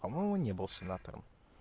по-моему не был сенатором